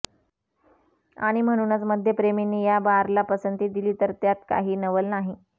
आणि म्हणूनच मद्यप्रेमींनी या बारला पसंती दिली तर त्यात काही नवल नाही